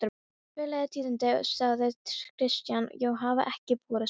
Furðuleg tíðindi, sagði Christian,-og hafa ekki borist mér.